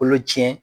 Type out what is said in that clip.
Kolo cɛn